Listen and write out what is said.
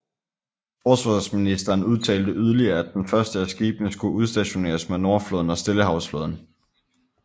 Forsvarsministeren udtalte yderligere at de første af skibene skulle udstationeres med Nordflåden og Stillehavsflåden